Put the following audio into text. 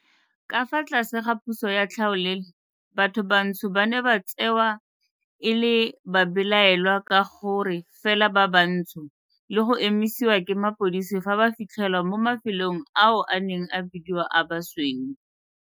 Ka fa tlase ga puso ya tlhaolele, batho bantsho ba ne ba tsewa e le babelaelwa ka gore fela ba bantsho le go emisiwa ke mapodisi fa ba fitlhelwa mo mafelong ao a neng a bidiwa a basweu.